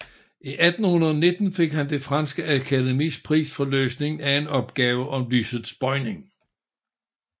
I 1819 fik han det franske akademis pris for løsningen af en opgave om lysets bøjning